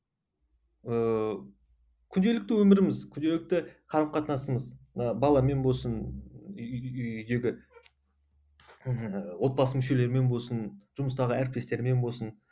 ыыы күнделікті өміріміз күнделікті қарым қатынасымыз ы баламен болсын үйдегі ііі отбасы мүшелермен болсын жұмыстағы әріптестермен болсын